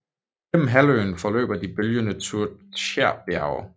Gennem halvøen forløber de bølgende Tjuktjerbjerge